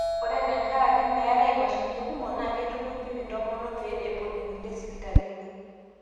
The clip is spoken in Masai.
Ero tenkaraki meetai imashinini kumok ,naa keitukuji intomonok pee epuo inkulie sipitalini.